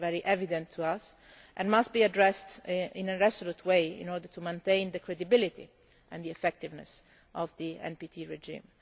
This is very evident to us and must be addressed in a resolute way in order to maintain the credibility and the effectiveness of the NPT